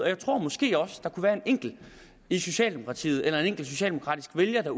jeg tror måske også der kunne være en enkelt i socialdemokratiet eller en enkelt socialdemokratisk vælger